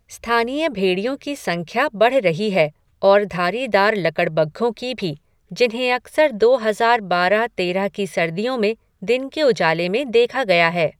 स्थानीय भेड़ियों की संख्या बढ़ रही है और धारीदार लकड़बग्घों की भी, जिन्हें अक्सर दो हजार बारह तेरह की सर्दियों में दिन के उजाले में देखा गया है।